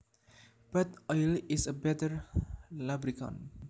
But oil is a better lubricant